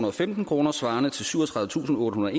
og femten kroner svarende til syvogtredivetusinde